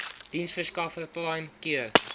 diensverskaffer prime cure